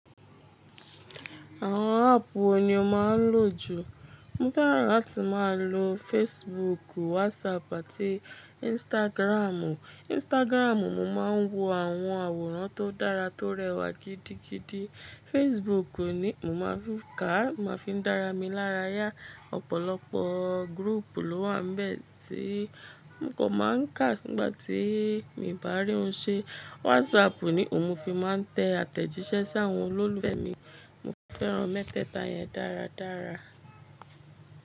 Àwọn áàpù wo ni o máa ń lò jù? Mo fẹ́ràn láti máa lo Facebook, WhatsApp àti Instagram. Instagram, mo máa ń wo àwọn àwòrán tó dára tó rẹwà gidigidi. Facebook ni mo máa fi ká, máa fi ń dára mi lára yá. Ọ̀pọ̀lọpọ̀ gurúùpù ló wà bẹ́ẹ̀ tí n kò máa ń kà nígbà tí mi ò bá rí ohun ṣe. WhatsApp ni òun mo fi máa ń tẹ àtẹ̀jíṣẹ́ sí àwọn olólùfẹ́ mi. Mo fẹ́ran mẹ́tẹ́ẹ̀ta yẹn dáradára.